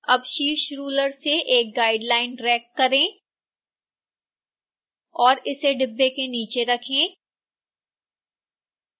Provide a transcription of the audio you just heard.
अब शीर्ष रुलर से एक guideline ड्रैग करें और इसे डिब्बों के नीचे रखें